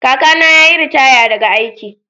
Kakana ya yi ritaya daga aiki.